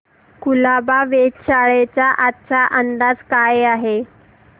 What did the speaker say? कुलाबा वेधशाळेचा आजचा अंदाज काय आहे